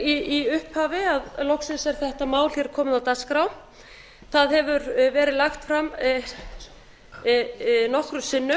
í upphafi að loksins er þetta mál hér komið á dagskrá það hefur verið lagt fram nokkrum sinnum